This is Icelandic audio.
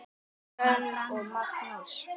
Hrönn og Magnús.